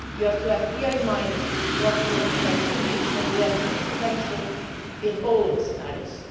You have to have clearly in mind what your potential is and we have a huge potential in all scenarios.